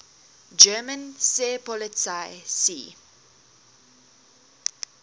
german seepolizei sea